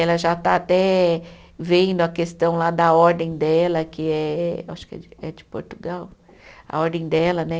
Ela já está até vendo a questão lá da ordem dela, que é, acho que é de, é de Portugal, a ordem dela, né?